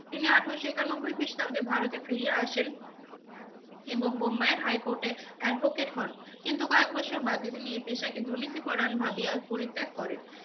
তিনি আঠেরোশো একানব্বই খ্রিষ্টাব্দে ভারতে ফিরিয়া আসেন এবং বোম্বাইয়ের high court এ advocate হন। কিন্তু কয়েক বছর বাদে তিনি এই পেশাকে দুর্নীতিপরায়ণ ভাবিয়া পরিত্যাগ করেন।